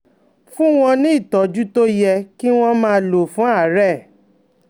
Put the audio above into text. Fún wọn ní ìtọ́jú tó yẹ kí wọ́n máa lò fún àárẹ̀